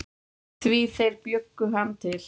Því þeir bjuggu hann til.